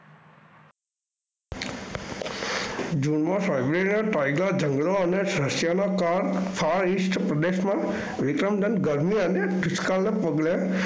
જૂનમા ઝગડો અને રશિયામા પ્રદેશમાં